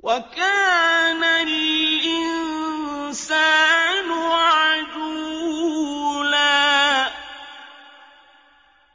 وَكَانَ الْإِنسَانُ عَجُولًا